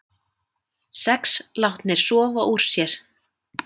Sex látnir sofa úr sér